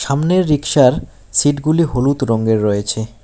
সামনের রিক্সার সিট -গুলি হলুদ রঙ্গের রয়েছে।